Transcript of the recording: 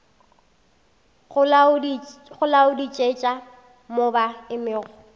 go laodišetša mo ba emego